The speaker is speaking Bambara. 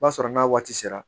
O b'a sɔrɔ n'a waati sera